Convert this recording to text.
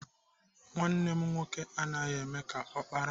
Nwanne m nwoke anaghị eme ka ọkpara.